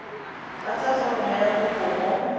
tlatsa foromo ya kopo mo